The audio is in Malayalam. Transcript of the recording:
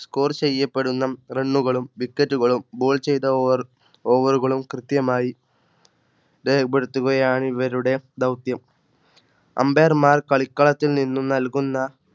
Score ചെയ്യപ്പെടുന്ന Run കളും wicket കളും Goal ചെയ്തബോളുകളും കൃത്യമായി രേഖപ്പെടുത്തുകയാണ് ഇവരുടെ ദൗത്യം Ambire മാർ കളിക്കളത്തിൽ നിന്നും നൽകുന്ന